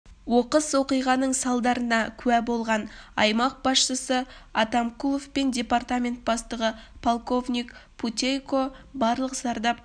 оқыс оқиғаның салдарына куә болған аймақ басшысы атамкулов пен департамент бастығы полковник путейко барлық зардап